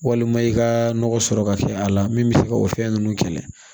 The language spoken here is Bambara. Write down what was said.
Walima i ka nɔgɔ sɔrɔ ka kɛ a la min bɛ se ka o fɛn ninnu kɛlɛ